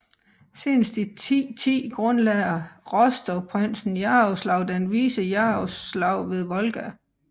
Senest i 1010 grundlagde Rostovprinsen Jaroslav den Vise Jaroslav ved Volga